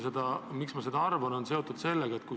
Miks ma seda arvan?